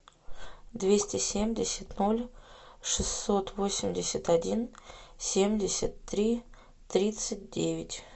двести семьдесят ноль шестьсот восемьдесят один семьдесят три тридцать девять